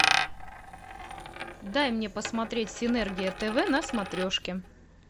дай мне посмотреть синергия тв на смотрешке